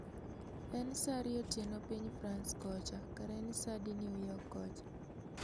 En sa ariyo otieno piny frans kocha kara en sa adi newyork kocha